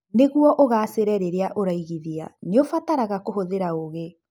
Nĩguo ũgaacĩre rĩrĩa ũraiigithia, nĩ ũbataraga kũhũthĩra ũũgĩ.